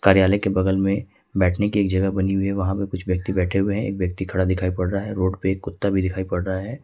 कार्यालय के बगल में बैठने की एक जगह बनी हुई है वहां पे कुछ व्यक्ति बैठे हुए हैं एक व्यक्ति खड़ा दिखाई पड़ रहा है रोड पे एक कुत्ता भी दिखाई पड़ रहा है।